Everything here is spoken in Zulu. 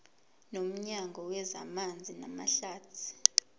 nomnyango wezamanzi namahlathi